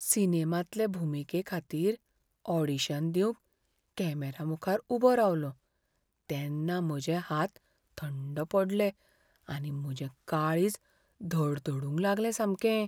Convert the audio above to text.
सिनेमांतले भुमिकेखातीर ऑडिशन दिवंक कॅमेरामुखार उबो रावलों तेन्ना म्हजे हात थंड पडले आनी म्हजें काळीज धडधडूंक लागलें सामकें.